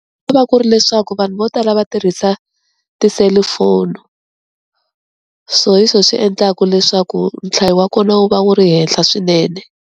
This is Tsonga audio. Ku va ku ri leswaku vanhu vo tala va tirhisa tiselifoni, so hi swo swi endlaka leswaku nhlayo wa kona wu va wu ri henhla swinene.